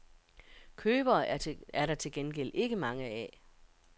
Købere er der til gengæld ikke mange af.